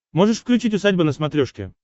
можешь включить усадьба на смотрешке